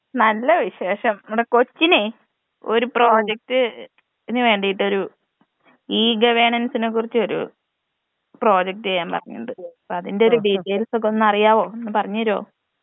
നല്ല വിശേഷം ഇമ്മടെ കൊച്ചിനെ ഒരു പ്രോജക്ട്ന് വേണ്ടീട്ടൊരു ഈ ഗവേണൻസിനെ കുറിച്ച് ഒരു പ്രോജക്ടീയ്യാൻ പറഞ്ഞിട്ടുണ്ട് അപ്പതിന്റൊരു ഡീറ്റെയിൽസൊക്കൊന്നറിയാവോ ഒന്നു പറഞ്ഞെരോ.